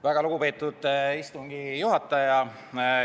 Väga lugupeetud istungi juhataja!